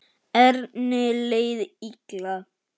Erni leið illa.